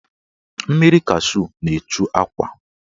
Mmiri kashu na-echu akwa.